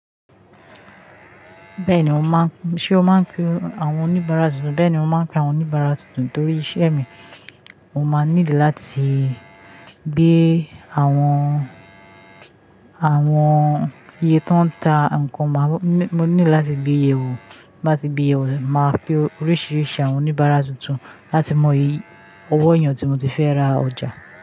Bẹ́ẹ̀ni mò ń pé, ṣé o máa ń pe àwọn oníbàárà tuntun? Bẹ́ẹ̀ni mò ń pe àwọn oníbàárà tuntun torí iṣẹ́ mi. Mo máa nílò láti gbé àwọn, àwọn iye tó ń ta nǹkan mo, mo nílò láti gbé yè o. Bí mo bá ti gbé yè o, màá pe oríṣiríṣi àwọn oníbàárà tuntun láti mọ iyì ọwọ́ èèyàn tí mo ti fẹ́ ra ọjà.